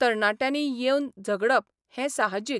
तरणाट्यांनी येवन झगडप हें साहजीक.